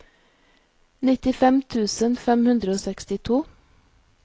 nittifem tusen fem hundre og sekstito